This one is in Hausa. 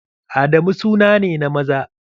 Adamu suna ne na maza.